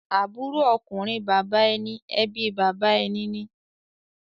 Àbúrò ọkùnrin bàbá ẹni ẹbí ẹni ni.